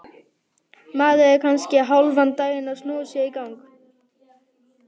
Maður er kannski hálfan daginn að snúa sér í gang.